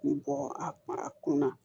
Bɔ a kun na